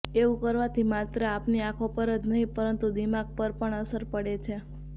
એવું કરવાથી માત્ર આપની આંખો પર જ નહીં પરંતુ દિમાગ પર પણ અસર પડે છે